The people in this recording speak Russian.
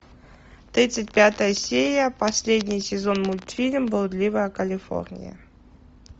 тридцать пятая серия последний сезон мультфильм блудливая калифорния